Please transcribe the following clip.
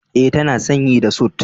E, tana sanye da sut.